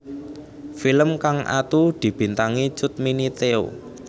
Film kang atu dibintangi Cut Mini Theo